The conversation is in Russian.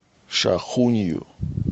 шахунью